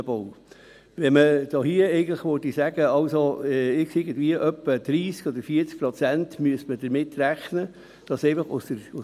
Weshalb? – Hier sind diese 100 Mio. Franken sehr, sehr viel Geld für einen Bau.